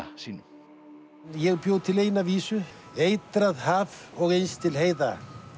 sínum ég bjó til eina vísu eitrað haf og innst til heiða